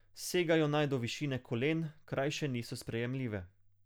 Segajo naj do višine kolen, krajše niso sprejemljive.